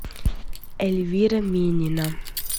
эльвира минина